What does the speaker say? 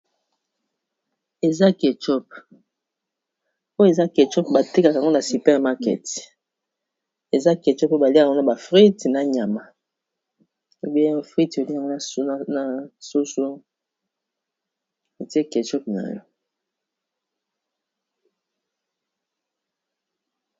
Eza kechup oyo eza kechup batekaka ngo na super market eza keuchup Oyo baliak'ango na ba frite na nyama ebenya ba frite oli yango na na soso etie kachop na yo.